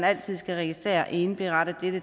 altid registreres og indberettes